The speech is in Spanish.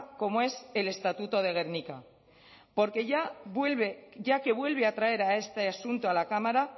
como es el estatuto de gernika ya que vuelve a traer este asunto a la cámara